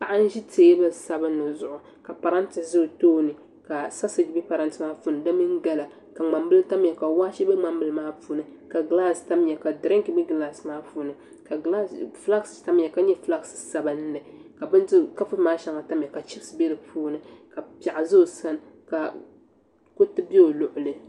Paɣa n-ʒi teebuli sabinli zuɣu ka parante za o tooni ka sasoogi be parante maa puuni di mini gala ka ŋmambila tamya ka waache be ŋmambila maa puuni ka gilaasi tamya ka dirinki be gilaasi maa puuni ka flaaki tamya ka nyɛ fulaaki sabinli ka kapunima maa shɛŋa tamya ka chipisi be di puuni ka piɛɣu za o sani ka kuriti be o luɣili.